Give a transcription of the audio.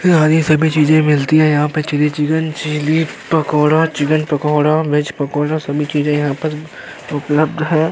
और हरी सभी चीजे मिलती हैं यहाँ पे chilli chicken chilli pakora chicken pakora veg pakora सभी चीजे यहाँ पर उपलब्ध हैं।